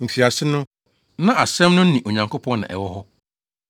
Mfiase no, na Asɛm no ne Onyankopɔn na ɛwɔ hɔ.